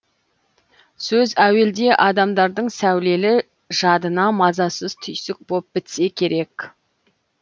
сөз әуелде адамдардың сәулелі жадына мазасыз түйсік боп бітсе керек